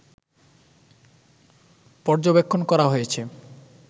পর্যবেক্ষণ করা হয়েছে